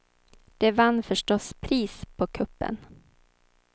Den vann förstås pris på kuppen.